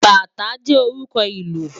Bátã jè órùkò ilù